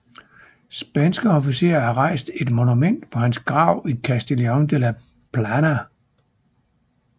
Spanske officerer har rejst et monument på hans grav i Castellon de la Plana